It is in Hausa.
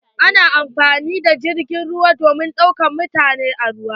Ana amfani da jirgin ruwa domin daukar mutane a kan ruwa.